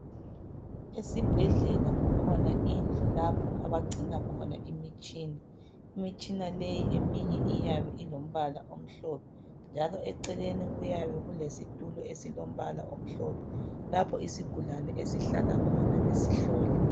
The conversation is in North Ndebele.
Esibhedlela kukhona indlu lapho abagcina khona imitshina. Imitshina leyi eminye iyabe ilombala omhlophe njalo eceleni kuyabe kulesitulo esilombala omhlophe lapho isigulane esihlala khona besihlola.